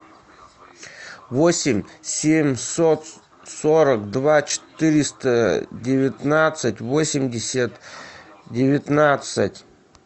восемь семьсот сорок два четыреста девятнадцать восемьдесят девятнадцать